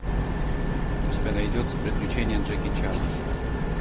у тебя найдется приключения джеки чана